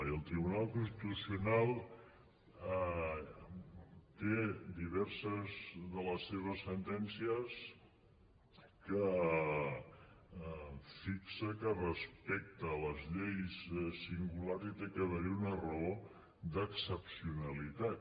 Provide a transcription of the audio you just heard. i el tribunal constitucional té diverses de les seves sentències en què fixa que respecte a les lleis singulars hi ha d’haver una raó d’excepcionalitat